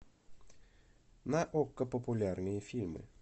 на окко популярные фильмы